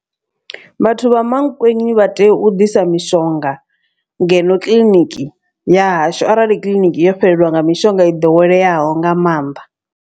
Vhathu vha Mankweng vha tea u ḓisa mishonga ngeno kiḽiniki ya hashu. Arali kiḽiniki yo fhelelwa nga mishonga i ḓoweleaho nga maanḓa.